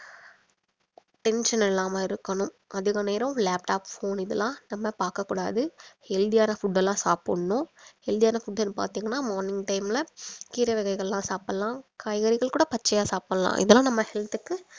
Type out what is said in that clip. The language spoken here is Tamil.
tension இல்லாம இருக்கணும் அதிக நேரம் laptop phone இதெல்லாம் நம்ம பாக்க கூடாது healthy ஆன food எல்லாம் சாப்பிடணும் healthy ஆன food ன்னு பாத்தீங்கன்னா morning time ல கீரை வகைகள்லாம் சாப்பிடலாம் காய்கறிகள் கூட பச்சையா சாப்பிடலாம் இதெல்லாம் நம்ம health க்கு